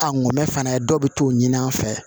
A ngɔmɛ fana dɔw bɛ t'o ɲini an fɛ